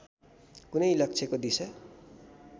कुनै लक्ष्यको दिशा